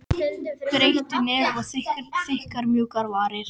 Breitt nef og þykkar, mjúkar varir.